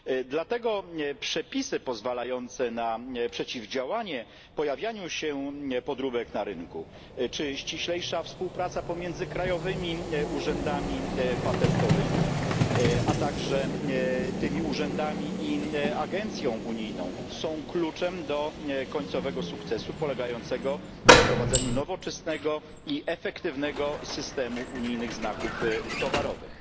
Dlatego przepisy pozwalające na przeciwdziałanie pojawianiu się podróbek na rynku, czyli ściślejsza współpraca pomiędzy krajowymi urzędami patentowym i, a także między tymi urzędami i agencją unijną, są kluczem do końcowego sukcesu polegającego na wprowadzeniu nowoczesnego i efektywnego systemu unijnych znaków towarowych.